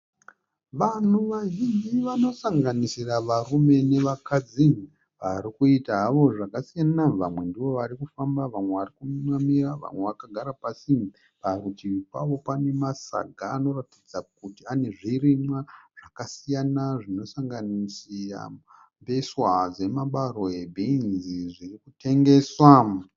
Vanhu vazhinji vanosanganisira varume nevakadzi vari kuita havo zvakasiyana vamwe ndivo varikufamba vamwe varikumiramira vamwe vakagara pasi parutivi pavo pane masaga anoratidza kuti ane zvirimwa zvakasiyana zvinosanganisira mbeswa dzemabarwe bhinzi zviri kutengeswa.